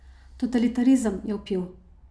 Totalitarizem, je vpil.